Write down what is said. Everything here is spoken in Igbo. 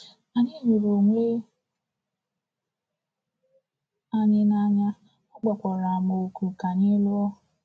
Anyị hụrụ onwe anyị n’anya, ọ kpọkwara m òkù ka anyị lụọ.